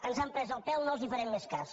ens han pres el pèl no els farem més cas